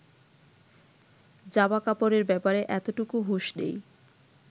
জামাকাপড়ের ব্যাপারে এতটুকু হুঁশ নেই